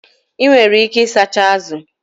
Enwere ike ịsacha azụ